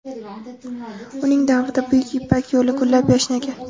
Uning davrida Buyuk Ipak yo‘li gullab-yashnagan.